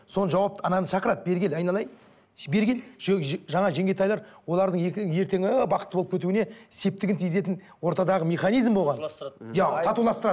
соны жауапты ананы шақырады бері кел айналайын бері кел жаңа жеңгетайлар олардың ертеңі бақытты болып кетуіне септігін тигізетін ортадағы механизм болған